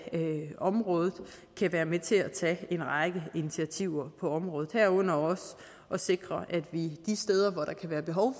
området kan være med til at tage en række initiativer på området herunder også at sikre at vi de steder hvor der kan være behov